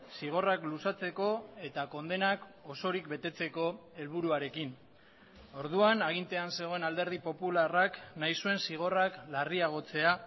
zigorrak luzatzeko eta kondenak osorik betetzeko helburuarekin orduan agintean zegoen alderdi popularrak nahi zuen zigorrak larriagotzea